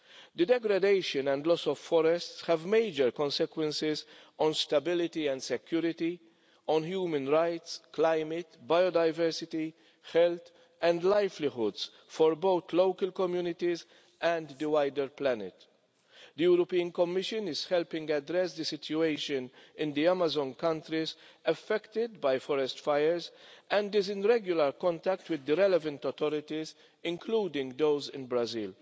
The degradation and loss of forests have major consequences on stability and security, on human rights, the climate, biodiversity and the health and livelihoods of both local communities and the wider planet. The European Commission is helping address the situation in the Amazon countries affected by forest fires, and is in regular contact with the relevant authorities, including those in Brazil.